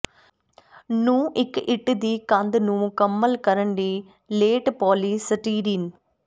ਨੂੰ ਇੱਕ ਇੱਟ ਦੀ ਕੰਧ ਨੂੰ ਮੁਕੰਮਲ ਕਰਨ ਲਈ ਲੇਟ ਪੋਲੀਸਟੀਰੀਨ